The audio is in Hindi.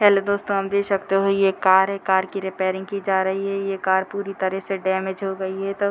हेलो दोस्तों आप देख सकते हो ये एक कार है कार की रिपेयरिंग की जा रही है ये कार पूरी तरह से डैमेज हो गई है तो --